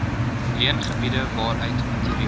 leengebiede waaruit materiaal